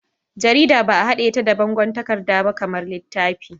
Jarida ba'a haɗe ta da bangon takarda ba kamar littafi.